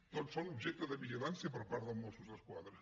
tots són objecte de vigilància per part dels mossos d’esquadra